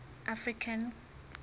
african